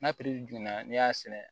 N'a piri dun na n'i y'a sɛnɛ